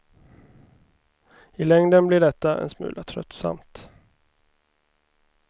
I längden blir detta en smula tröttsamt.